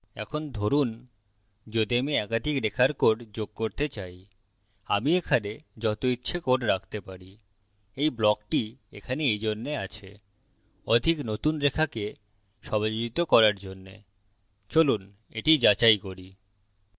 এখন ধরুন যদি আমি একাধিক রেখার code যোগ করতে চাই আমি এখানে that ইচ্ছে code রাখতে পারি এই ব্লকটি এখানে এইজন্যে আছে অধিক নতুন রেখাকে সমাযোজিত করার জন্য চলুন that যাচাই করি